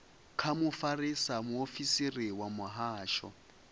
kha mufarisa muofisiri wa muhasho